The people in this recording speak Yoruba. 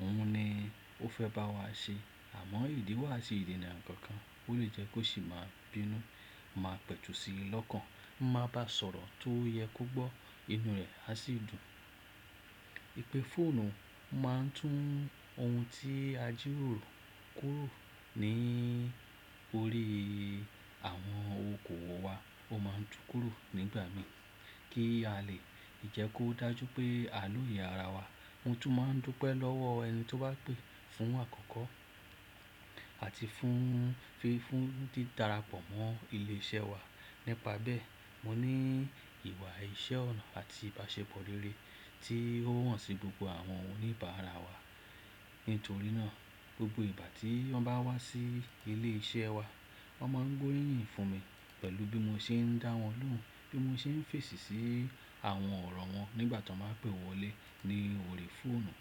òun ni ó fẹ́ bá wa ṣe. Àmọ́ ìdí wà sí ìdènà nǹkan kan tó lè jẹ́ kó sì máa bínú. Mo máa pẹ̀tù sí i lọ́kàn, mo máa bá sọ̀rọ̀ tó yẹ kó gbọ́, inú rẹ̀ á sì dùn. Ìpè fóònù máa ń tún ohun tí a jíró kúrò ní orí àwọn okoòwò wa, ó máa ń tú kúrò nígbà mí kí a lè jẹ́ kó dájú pé a lóye ara wa. Mo tún máa ń dúpẹ́ lọ́wọ ẹni tí ó bá pè fún àkọ́kọ́ àti fún fífún tí darapọ̀ mọ́ ilé iṣẹ́ wa. Nípa bẹ́ẹ̀, mo ní ìwà iṣẹ́ ọ̀nà àti ìbáṣepọ̀ rere tí ó wọ̀nsìí gbogbo àwọn oníbàárà wa. Nítorí náà, gbogbo ìgbà tí wọ́n bá wá sí ilé iṣẹ́ wa, wọ́n máa ń gbóríyìn fún mi pẹ̀lú bí mo ṣe ń dá wọn lóhùn, bí mo ṣe ń fèsì sí àwọn ọ̀rọ̀ wọn nígbà tí wọ́n bá pè wọlé ní orí fóònù.